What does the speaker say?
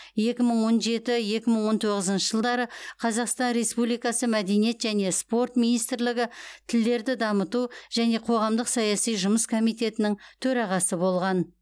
екі мың он жеті екі мың он тоғызыншы жылдары қазақстан республикасы мәдениет және спорт министрлігі тілдерді дамыту және қоғамдық саяси жұмыс комитетінің төрағасы болған